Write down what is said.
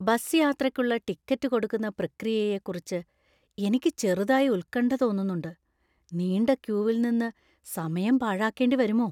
Bus യാത്രക്കുള്ള ticket കൊടുക്കുന്ന പ്രക്രിയയെക്കുറിച്ച് എനിക്ക് ചെറുതായി ഉത്കണ്ഠ തോന്നുന്നുണ്ട്; നീണ്ട ക്യൂവിൽ നിന്ന് സമയം പാഴാക്കേണ്ടി വരുമോ?